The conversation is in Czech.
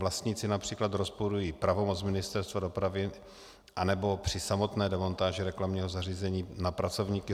Vlastníci například rozporují pravomoc Ministerstva dopravy, anebo při samotné demontáži reklamního zařízení na pracovníky